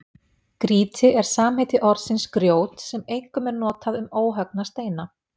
Grýti er samheiti orðsins grjót sem einkum er notað um óhöggna steina.